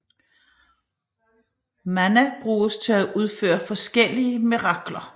Mana bruges til at udføre forskellige mirakler